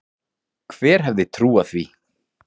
Hver hefði trúað því?